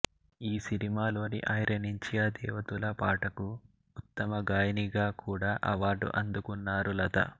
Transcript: ఈ సినిమాలోని ఐరనించియా దేవ తులా పాటకు ఉత్తమ గాయినిగా కూడ అవార్డు అందుకున్నారు లతా